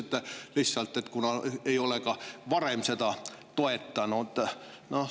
Ütlesite lihtsalt, et kuna nad ei ole ka varem seda toetanud.